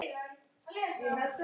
Hjá mér? svaraði Ragna.